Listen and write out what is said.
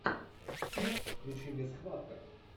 включи мне схватка